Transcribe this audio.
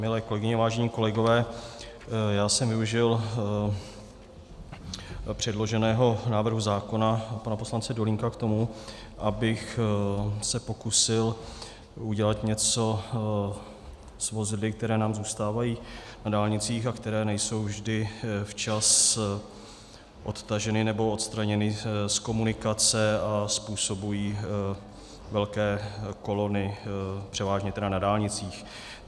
Milé kolegyně, vážení kolegové, já jsem využil předloženého návrhu zákona pana poslance Dolínka k tomu, abych se pokusil udělat něco s vozidly, která nám zůstávají na dálnicích a která nejsou vždy včas odtažena nebo odstraněna z komunikace a způsobují velké kolony, převážně tedy na dálnicích.